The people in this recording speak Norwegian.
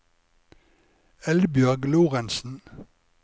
Eldbjørg Lorentsen